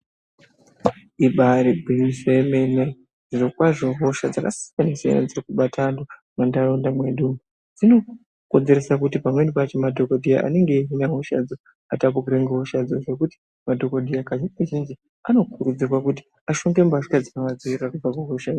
Ibari gwinyiso remene zviro kwazvo hosha dzakasiyana dziyani dziri kubata antu mundaraunda mwedu dzinokonzeresa kuti pamweni pacho madhokodheya anenge eihina hosha idzi asatapurira hosha idzi madhokodheya kazhinji zhinji anokurudzirwa kuti shonge mbatya dzino vadzivirira kubva kuhosha idzi.